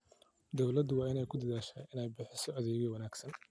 Dawladdu waxay ku dadaashaa inay bixiso adeegyo wanaagsan.